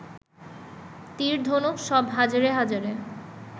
তীর, ধনুক সব হাজারে হাজারে